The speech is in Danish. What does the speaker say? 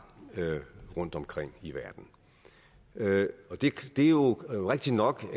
rundtomkring i verden det er jo rigtigt nok